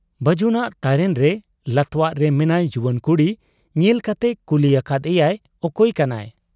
ᱵᱟᱹᱡᱩᱱᱟᱜ ᱛᱟᱨᱮᱱᱨᱮ ᱞᱟᱛᱣᱟᱜᱨᱮ ᱢᱮᱱᱟᱭ ᱡᱩᱣᱟᱹᱱ ᱠᱩᱲᱤ ᱧᱮᱞ ᱠᱟᱛᱮ ᱠᱩᱞᱤ ᱟᱠᱟᱫ ᱮᱭᱟᱭ, 'ᱚᱠᱚᱭ ᱠᱟᱱᱟᱭ ?